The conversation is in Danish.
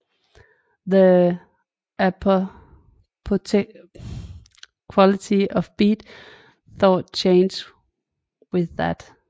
The apolitical quality of Beat thought changed with that